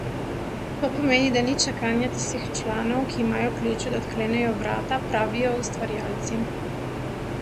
To pomeni da ni čakanja tistih članov, ki imajo ključe da odklenejo vrata, pravijo ustvarjalci.